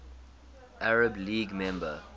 arab league member